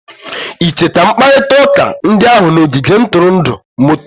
I cheta mkparịta ụka ndị ahụ n'ogige ntụrụndụ moto?